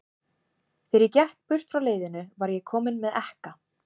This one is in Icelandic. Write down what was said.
Þegar ég gekk burt frá leiðinu, var ég kominn með ekka.